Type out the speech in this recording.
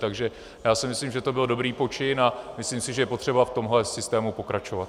Takže já si myslím, že to byl dobrý počin, a myslím si, že je potřeba v tomhle systému pokračovat.